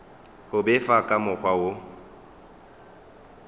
go befa ka mokgwa wo